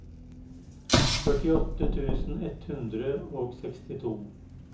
førtiåtte tusen ett hundre og sekstito